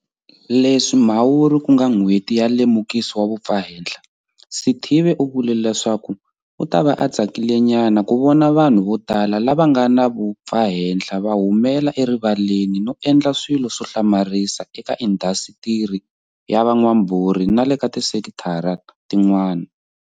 Leswi Mhawuri ku nga N'hweti ya Lemukiso wa Vumpfahenhla, Sithibe u vule leswaku u ta va a tsakilenyana ku vona vanhu votala lava nga na vumpfahenhla va humela erivaleni no endla swilo swo hlamarisa eka indhasitiri ya van'wambhurhi na le ka tisekithara tin'wana.